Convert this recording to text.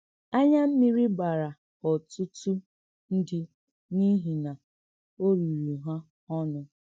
Ányà mmírí gbàrà ọ̀tùtù ǹdí n’ìhì nà ò rìrì hà ọnụ̀.